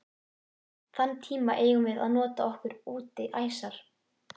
Þann tíma eigum við að nota okkur útí æsar.